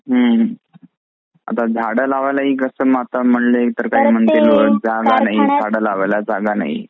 हं आता झाड लावायला म्हंटलं कि झाड लावायला जागा नाही